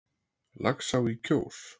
Laxá í Kjós